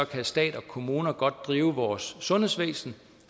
kan stat og kommuner godt drive vores sundhedsvæsen